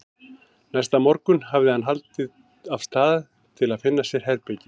Næsta morgun hafði hann haldið af stað til að finna sér herbergi.